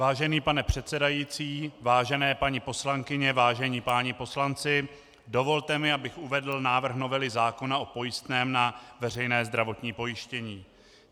Vážený pane předsedající, vážené paní poslankyně, vážení páni poslanci, dovolte mi, abych uvedl návrh novely zákona o pojistném na veřejné zdravotní pojištění.